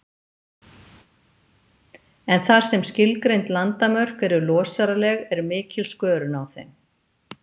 En þar sem skilgreind landamörk eru losaraleg, er mikil skörun á þeim.